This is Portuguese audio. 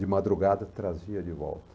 De madrugada trazia de volta.